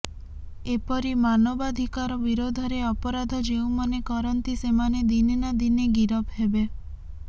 ଏପରି ମାନବାଧିକାର ବିରୋଧରେ ଅପରାଧ ଯେଉଁମାନେ କରନ୍ତି ସେମାନେ ଦିନେ ନା ଦିନେ ଗିରଫ ହେବେ